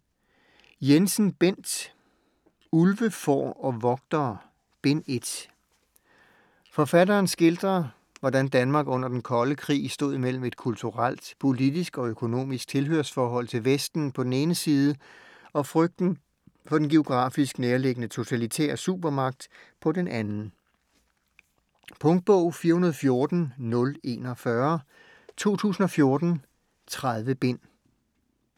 Jensen, Bent: Ulve, får og vogtere: Bind 1 Forfatteren skildrer, hvordan Danmark under Den Kolde Krig stod mellem et kulturelt, politisk og økonomisk tilhørsforhold til Vesten på den ene side og frygten for den geografisk nærliggende totalitære supermagt på den anden. Punktbog 414041 2014. 30 bind.